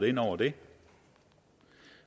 ind over det